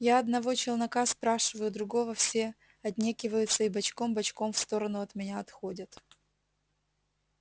я одного челнока спрашиваю другого все отнекиваются и бочком-бочком в сторону от меня отходят